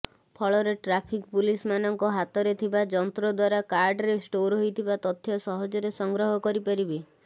ଫଳରେ ଟ୍ରାଫିକ୍ ପୁଲିସମାନଙ୍କ ହାତରେ ଥିବା ଯନ୍ତ୍ରଦ୍ୱାରା କାର୍ଡରେ ଷ୍ଟୋର୍ ହୋଇଥିବା ତଥ୍ୟ ସହଜରେ ସଂଗ୍ରହ କରି ପାରିବେ